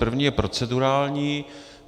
První je procedurální.